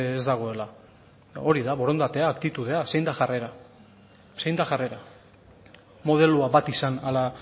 ez dagoela hori da borondatea aktitudea zein da jarrera zein da jarrera modeloa bat izan ala